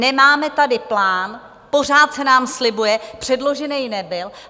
Nemáme tady plán, pořád se nám slibuje, předložený nebyl.